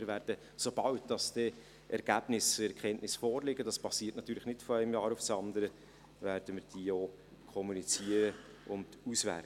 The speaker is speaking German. Wir werden, sobald dann Ergebnisse, Erkenntnisse vorliegen – das geschieht natürlich nicht von einem Jahr aufs andere –, diese auch kommunizieren und auswerten.